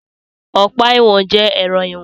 Ọ̀pá ìwọ̀n jẹ ẹrọ ìwọ̀n.